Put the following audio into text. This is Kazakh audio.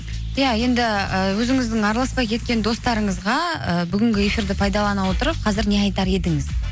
иә енді і өзіңіздің араласпай кеткен достарыңызға ііі бүгінгі эфирді пайдалана отырып қазір не айтар едіңіз